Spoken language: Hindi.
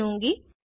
चुनूँगी